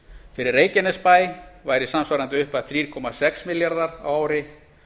fyrir reykjanesbæ væri samsvarandi upphæð þrjú komma sex milljarðar á ári